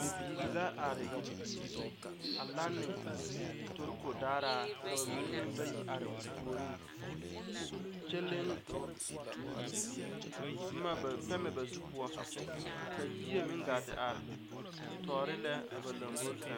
Bibiiri la are a lane toroko daaraa ka ba mine meŋ bayi are o puoriŋ kyɛ leŋ boma pɛmɛ ba zu poɔ ka yie me gaa te are tɔɔre lɛ a ba lomboriŋ sɛŋ.